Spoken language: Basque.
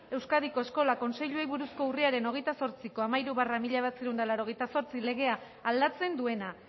euskadiko eskola kontseiluei buruzko urriaren hogeita zortziko hamairu barra mila bederatziehun eta laurogeita zortzi legea aldatzen duena